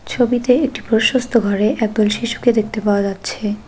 ছবিতে একটি প্রশস্ত ঘরে একদল শিশুকে দেখতে পাওয়া যাচ্ছে।